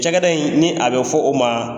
Cakɛda in ni a bɛ fɔ o ma